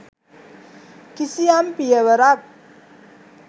කිසියම් පියවරක්